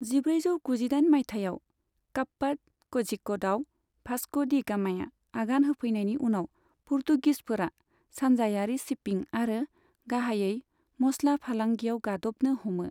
जिब्रैजौ गुजिदाइन मायथाइयाव काप्पाड क'झिक'डआव भास्क' डि गामाया आगान होफैनायनि उनाव, पुर्तुगिसफोरा सानजायारि शिपिं आरो गाहायै मस्ला फालांगियाव गादबनो हमो।